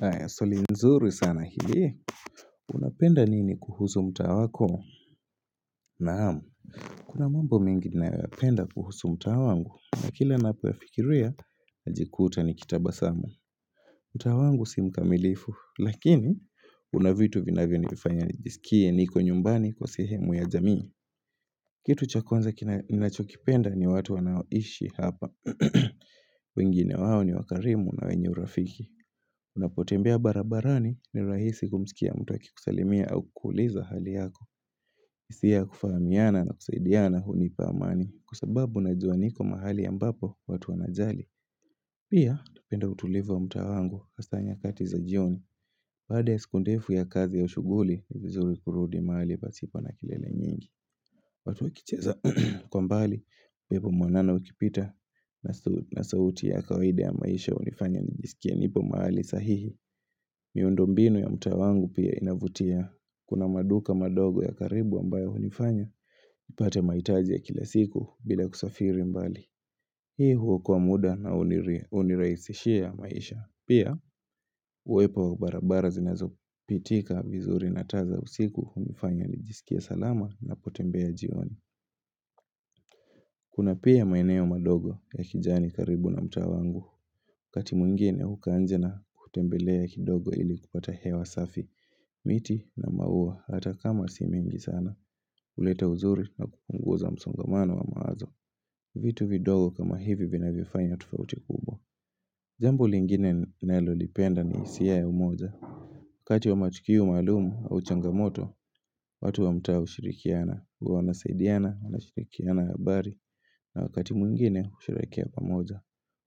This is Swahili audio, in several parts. Aya, swali nzuri sana hili. Unapenda nini kuhusu mtaa wako? Naamu. Kuna mambo mengi naapenda kuhusu mtaa wangu. Na kila napoyafikiria, najikuta ni kitabasamu. Mtaa wangu si mkamilifu. Lakini, unavitu vinavyo nifanya nijisikie niko nyumbani kwa sehemu ya jamii. Kitu cha kwanza kina nachokipenda ni watu wanaoishi hapa. Wengine wao ni wakarimu na wenye urafiki. Unapotembea barabarani ni rahisi kumisikia mtu aki kusalimia au kukuuliza hali yako hisia ya kufahamiana na kusaidiana hunipa amani Kwa sababu najua niko mahali ambapo watu wanajali Pia napenda utulivu wa mtaa wangu hasa nyakati za jioni Baada ya siku ndefu ya kazi au shuguli, vizuri kurudi mahali pasipo na kelele nyingi watu wakicheza kwa mbali, pepo mwanana ukipita na sauti ya kawaide ya maisha unifanya nijisikie nipo mahali sahihi miundo mbinu ya mtaa wangu pia inavutia Kuna maduka madogo ya karibu ambayo hunifanya upate mahitaji ya kila siku bila kusafiri mbali Hii huokoa muda na unirahisishia ya maisha Pia uwepo wa barabara zinazo pitika vizuri na taa za usiku hunifanya nijisikie salama na potembea jioni Kuna pia maeneo madogo ya kijani karibu na mtaa wangu wakati mwingine hukaa nje na kutembele ya kidogo ili kupata hewa safi miti na maua hata kama si mingi sana huleta uzuri na kupunguza msongamano wa mawazo vitu vidogo kama hivi vinavifanya tofauti kubwa jambo lingine nalolipenda ni hisia ya umoja wakati wa matukio maalumu au changamoto watu wa mtaa ushirikiana kuwa wanasaidiana na shirikiana habari na wakati mwingine kushirehekea pamoja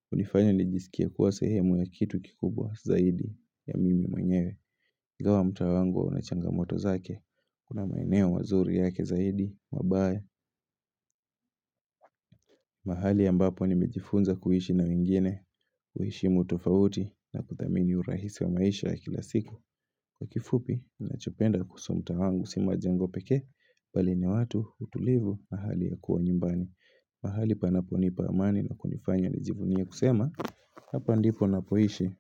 hunifanya nijisikie kuwa sehemu ya kitu kikubwa zaidi ya mimi mwenyewe ingawa mtaa wangu huwa unachangamoto zake Kuna maeneo wazuri yake zaidi, mabaya mahali ambapo nimejifunza kuhishi na wengine kuheshimu tofauti na kuthamini urahisi wa maisha kila siku Kwa kifupi, nachopenda kuhusu mta wangu si majengo pekee Bali ni watu utulivu mahali ya kuwa nyumbani mahali panapo nipa amani na kunifanya nijivunia kusema Hapa ndipo napoisha.